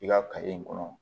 I ka kɔnɔ